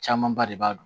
Camanba de b'a dɔn